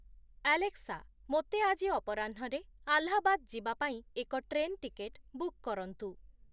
Alexa, ମୋର ଆଜି ଅପରାହ୍ନରେ ଆଲାହାବାଦ ଯିବା ପାଇଁ ଏକ ଟ୍ରେନ୍ ଟିକେଟ୍ ବୁକ୍ କରନ୍ତୁ